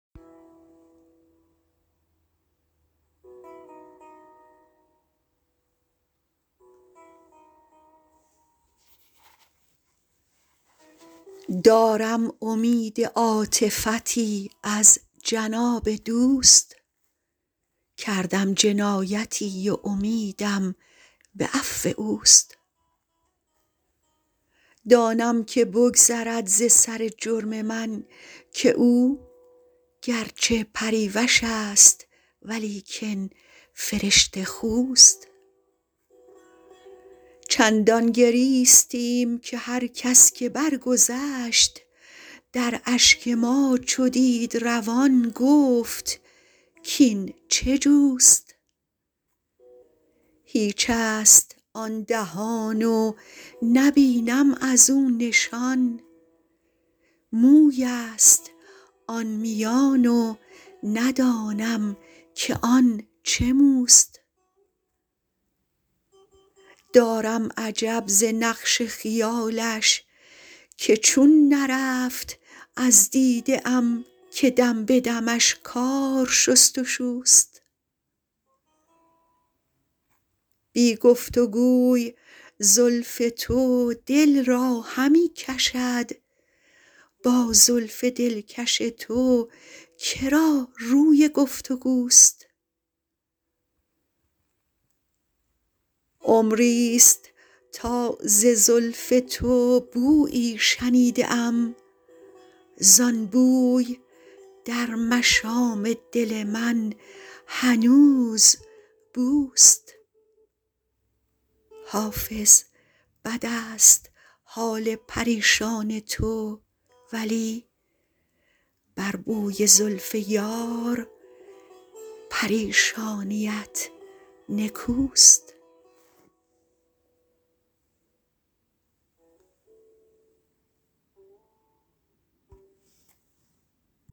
دارم امید عاطفتی از جناب دوست کردم جنایتی و امیدم به عفو اوست دانم که بگذرد ز سر جرم من که او گر چه پریوش است ولیکن فرشته خوست چندان گریستیم که هر کس که برگذشت در اشک ما چو دید روان گفت کاین چه جوست هیچ است آن دهان و نبینم از او نشان موی است آن میان و ندانم که آن چه موست دارم عجب ز نقش خیالش که چون نرفت از دیده ام که دم به دمش کار شست و شوست بی گفت و گوی زلف تو دل را همی کشد با زلف دلکش تو که را روی گفت و گوست عمری ست تا ز زلف تو بویی شنیده ام زان بوی در مشام دل من هنوز بوست حافظ بد است حال پریشان تو ولی بر بوی زلف یار پریشانیت نکوست